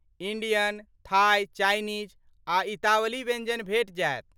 Indian, Thai, Chinese आ इतावली व्यञ्जन भेटि जायत।